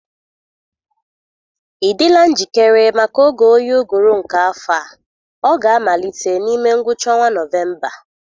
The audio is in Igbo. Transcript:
Ị dịla njikere maka oge oyi ụgụrụ nke afọ a? Ọ ga-amalite n'ime ngwụcha ọnwa Nọvemba.